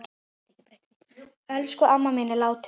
Elsku amma mín er látin.